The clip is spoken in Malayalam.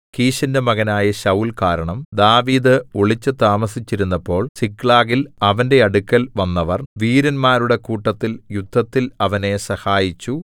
കീശിന്റെ മകനായ ശൌല്‍ കാരണം ദാവീദ് ഒളിച്ചു താമസിച്ചിരുന്നപ്പോൾ സിക്ലാഗിൽ അവന്റെ അടുക്കൽ വന്നവർ വീരന്മാരുടെ കൂട്ടത്തിൽ യുദ്ധത്തിൽ അവനെ സഹായിച്ചു